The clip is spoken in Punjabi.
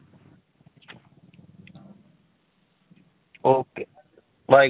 Okay bye